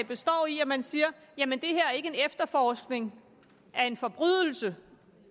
består i at man siger jamen det her er ikke en efterforskning af en forbrydelse